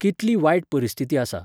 कितली वायट परिस्थिती आसा.